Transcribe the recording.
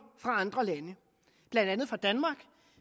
fra andre lande blandt andet fra danmark